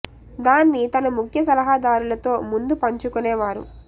దాన్ని తన ముఖ్య సలహాదారులతో ముందు పంచు కునే వారు